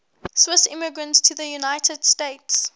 swiss immigrants to the united states